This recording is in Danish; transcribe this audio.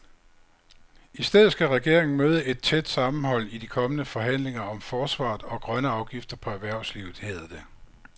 I stedet skal regeringen møde et tæt sammenhold i de kommende forhandlinger om forsvaret og grønne afgifter på erhvervslivet, hedder det.